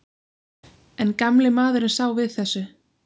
En gamli maðurinn sá við þessu.